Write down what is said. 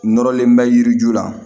Nɔrɔlen bɛ yiri ju la